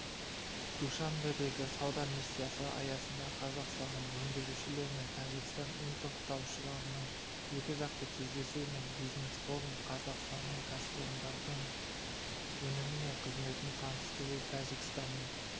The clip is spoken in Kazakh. душанбедегі сауда миссиясы аясында қазақстандық өндірушілер мен тәжікстан импорттаушыларының екі жақты кездесуі және бизнес-форум қазақстандық кәсіпорындардың өнімі мен қызметін таныстыру тәжікстанның